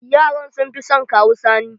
Yaran sun fi son Kawu Sani.